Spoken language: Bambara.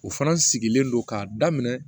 O fana sigilen don k'a daminɛ